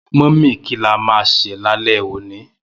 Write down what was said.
Mummy ki la ma ṣè lálé òní?